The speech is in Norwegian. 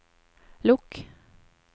lukk